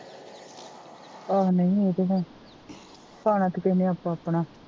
ਆਹੋ ਨਹੀਂ ਇਹ ਤਾ ਹੈ ਖਾਣਾ ਤਾ ਕਿਹੇ ਨੇ ਆਪੋ ਆਪਣਾ